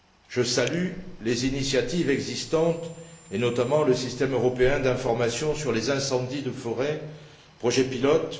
Je salue les initiatives existantes, et notamment le système européen d'information sur les incendies de forêt, projet pilote.